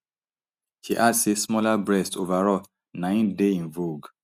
she add say smaller breasts overall na im dey in vogue